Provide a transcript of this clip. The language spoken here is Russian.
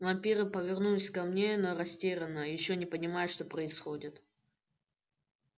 вампиры повернулись ко мне но растерянно ещё не понимая что происходит